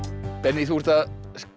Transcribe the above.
benný þú ert að